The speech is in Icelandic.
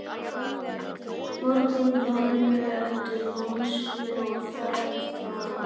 Morgunblaðinu eftir lánsfé og fékk það.